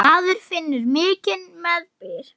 Maður finnur mikinn meðbyr.